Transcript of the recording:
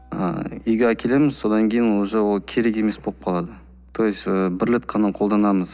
ыыы үйге әкелеміз содан кейін уже ол керек емес болып қалады то есть ы бір рет қана қолданамыз